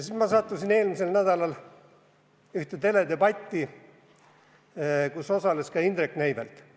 Ma sattusin eelmisel nädalal ühte teledebatti, kus osales ka Indrek Neivelt.